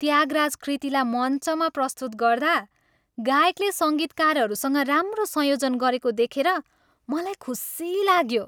त्यागराज कृतिलाई मञ्चमा प्रस्तुत गर्दा गायकले सङ्गीतकारहरूसँग राम्रो संयोजन गरेको देखेर मलाई खुसी लाग्यो।